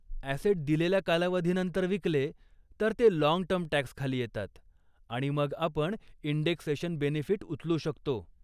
Asset दिलेल्या कालावधीनंतर विकले, तर ते लाँग टर्म टॅक्सखाली येतात, आणि मग आपण इंडेक्सेशन बेनिफिट उचलू शकतो.